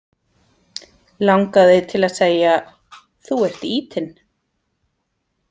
Langaði til að segja: Þú ert ýtinn.